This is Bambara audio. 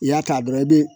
I y'a ta dɔrɔn i bi